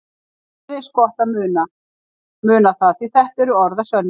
Þér er eins gott að muna það því þetta eru orð að sönnu.